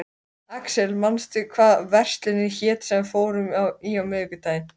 Axel, manstu hvað verslunin hét sem við fórum í á miðvikudaginn?